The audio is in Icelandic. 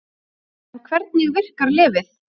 En hvernig virkar lyfið?